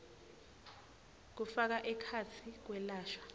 kufaka ekhatsi kwelashwa